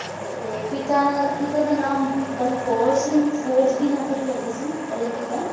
ਤੇ ਪਿਤਾ ਪਿਤਾ ਦਾ ਨਾਮ ਬਲਕੌਰ ਦਾਮ ਬਲਕੌਰ ਸਿੰਘ ਫੌਜ ਦੀ ਨੌਕਰੀ ਕਰਦੇ ਸੀ ਇਹਦੇ ਪਿਤਾ